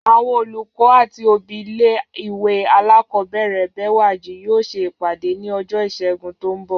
Àwọn olùkọ́ àti òbí ilé ìwé alákọ̀ọ́bẹ̀rẹ̀ Bẹ́wàjí yóò ṣe ìpàdé ní ọjọ́ Ìṣẹ́gun tó ń bọ̀